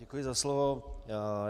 Děkuji za slovo.